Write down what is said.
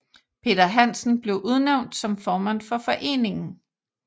Peter Hansen blev udnævnt som formand for foreningen